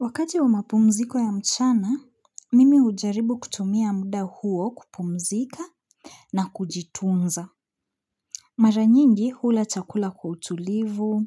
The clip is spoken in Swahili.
Wakati wa mapumziko ya mchana, mimi hujaribu kutumia muda huo kupumzika na kujitunza. Mara nyingi hula chakula kwa utulivu,